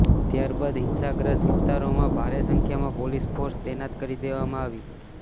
ત્યારબાદ હિંસાગ્રસ્ત વિસ્તારોમાં ભારે સંખ્યામાં પોલીસ ફોર્સ તૈનાત કરી દેવામાં આવી